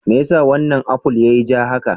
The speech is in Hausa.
Me yasa wannan aful yiyi ja haka?